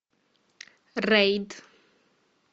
рейд